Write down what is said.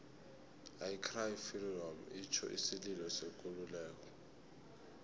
i cry freedom itjho isililo sekululeko